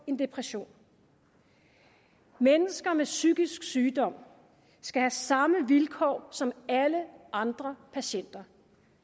en depression mennesker med psykisk sygdom skal have samme vilkår som alle andre patienter